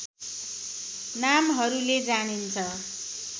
नामहरूले जानिन्छ